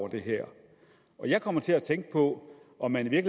det her jeg kommer til at tænke på om man i